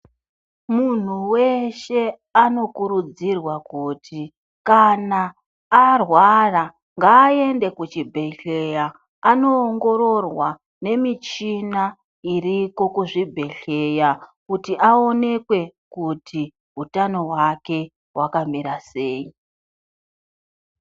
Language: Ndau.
Munhu weshe anokurudzirwa kuti kana arwara ngaende kuchibhedhleya anowongororwa nemichina iriko kuzvibhedhleya kuti awonekwe kuti hutano wakewakamira sei.